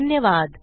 धन्यवाद